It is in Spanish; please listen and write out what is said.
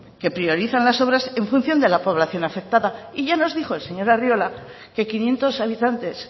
que priorizan las obras en función de la población afectada y ya nos dijo el señor arriola que quinientos habitantes